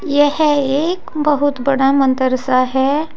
यह एक बहुत बड़ा मंदिर सा है।